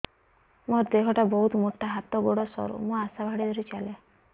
ମୋର ଦେହ ଟା ବହୁତ ମୋଟା ହାତ ଗୋଡ଼ ସରୁ ମୁ ଆଶା ବାଡ଼ି ଧରି ଚାଲେ